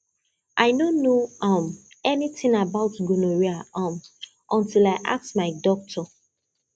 i no know um anything about gonorrhea um until i ask my doctor